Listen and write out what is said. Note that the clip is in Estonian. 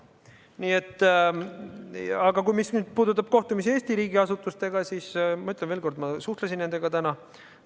Aga mis puudutab kohtumisi Eesti riigiasutustega, siis ma ütlen veel kord, et ma suhtlesin nendega täna.